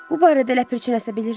Bu barədə ləpirçi nəsə bilirmi?